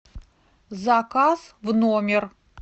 заказ в номер